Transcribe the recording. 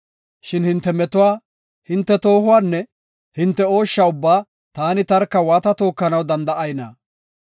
Shin hinte metuwa, hinte toohuwanne hinte ooshsha ubbaa taani tarka waata tookanaw danda7ayna?